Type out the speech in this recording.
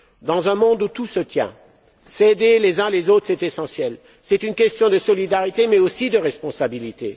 Dans un monde où tout se tient, s'aider les uns les autres est essentiel. C'est une question de solidarité, mais aussi de responsabilité.